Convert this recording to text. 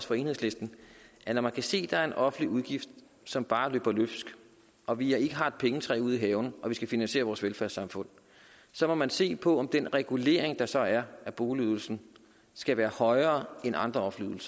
for enhedslisten at når man kan se at der er en offentlig udgift som bare løber løbsk og vi ikke har et pengetræ ude i haven og vi skal finansiere vores velfærdssamfund så må man se på om den regulering der så er af boligydelsen skal være højere end andre offentlige